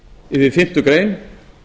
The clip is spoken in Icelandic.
við fyrstu grein